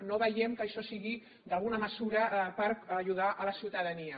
no veiem que això sigui alguna mesura per ajudar la ciutadania